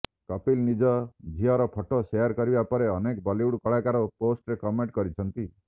କପିଲ ନିଜ ଝିଅର photo share କରିବା ପରେ ଅନେକ ବଲିଉଡ କଳାକାର ପୋଷ୍ଟରେ କନମେଣ୍ଟ କରିଛନ୍ତି